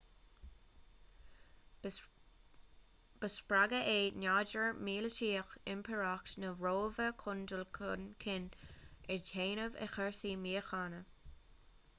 ba spreagadh é nádúr míleataíoch impireacht na róimhe chun dul chun cinn a dhéanamh i gcúrsaí míochaine